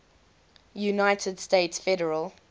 united states federal